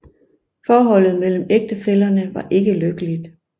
Forholdet mellem ægtefællerne var ikke lykkeligt